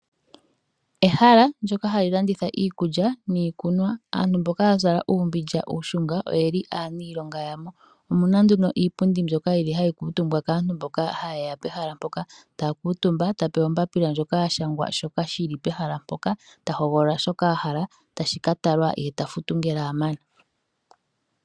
Ehala ndoka hali landitha iikulya niikunwa, aantu mboka ya zala uumbilya uushunga oye li aaniilonga ya mo. Omu na nduno iipundi mbyoka yili hayi kuutumbwa kaantu mboka haye ya pehala mpoka, taa kuutumba, ta hogolola shoka a hala, tashi ka talwa, ye ta futu ngele a mana.